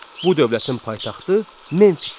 Bu dövlətin paytaxtı Memfis idi.